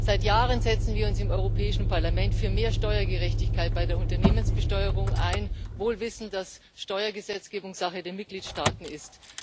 Seit Jahren setzen wir uns im Europäischen Parlament für mehr Steuergerechtigkeit bei der Unternehmensbesteuerung ein, wohl wissend, dass Steuergesetzgebung Sache der Mitgliedstaaten ist.